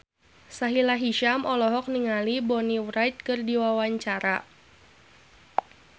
Sahila Hisyam olohok ningali Bonnie Wright keur diwawancara